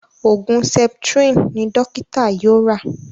Oògùn septrin ní dókítà yóò rà.